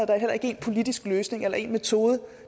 der heller ikke én politisk løsning eller én metode